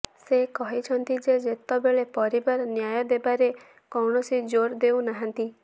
ସେ କହିଛନ୍ତି ଯେ ଯେତେବେଳେ ପରିବାର ନ୍ୟାୟ ଦେବାରେ କୌଣସି ଜୋର ଦେଉ ନାହାନ୍ତି